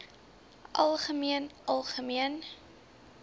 algemeen algemeen